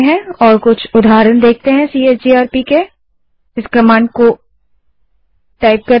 अब हम टर्मिनल पर चलते हैं और सीएचजीआरपी कमांड के कुछ उदाहरण देखते हैं